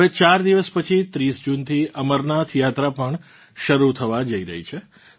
હવે ચાર દિવસ પછી 30 જૂનથી અમરનાથ યાત્રા પણ શરૂ થવા જઇ રહી છે